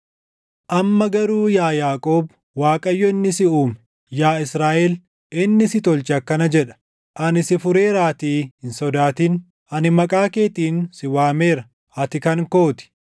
Amma garuu yaa Yaaqoob, Waaqayyo inni si uume, yaa Israaʼel, inni si tolche akkana jedha: “Ani si fureeraatii hin sodaatin; ani maqaa keetiin si waameera; ati kan koo ti.